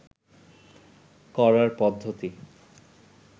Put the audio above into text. করার পদ্ধতি